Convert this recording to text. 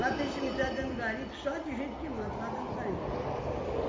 Lá tem cemitério dentro do garimpo só de gente que mata lá dentro do garimpo